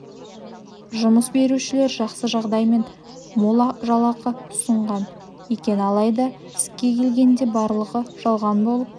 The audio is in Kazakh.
жұмыс берушілер жақсы жағдай мен мол жалақы ұсынған екен алайда іске келгенде барлығы жалған болып